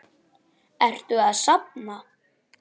Ertu að safna?